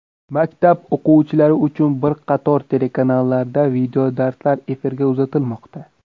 Maktab o‘quvchilari uchun bir qator telekanallarda videodarslar efirga uzatilmoqda .